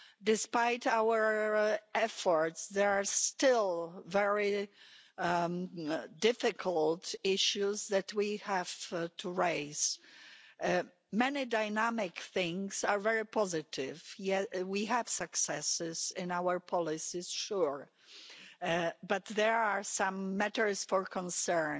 Despite our efforts, there are still very difficult issues that we have to raise. Many dynamic things are very positive. Yes, we have successes in our policies for sure but there are some matters for concern